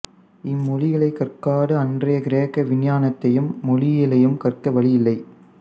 இம்மொழிகளைக் கற்காது அன்றைய கிரேக்க விஞ்ஞானத்தையும் மெய்யியலையும் கற்க வழி இல்லை